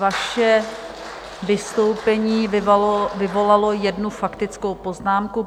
Vaše vystoupení vyvolalo jednu faktickou poznámku.